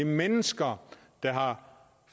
mennesker der har